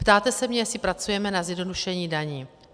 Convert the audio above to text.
Ptáte se mě, jestli pracujeme na zjednodušení daní.